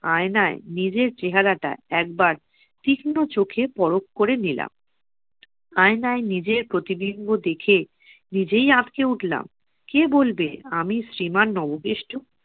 আয়নায় নিজের চেহারাটা একবার তীক্ষ্ণ চোখে পরখ করে নিলাম। আয়নায় নিজের প্রতিবিম্ব দেখে নিজেই আঁতকে উঠলাম। কে বলবে, আমি শ্রীমান নবকেষ্ট!